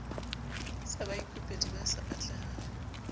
sa baikopedi ba sa atlehang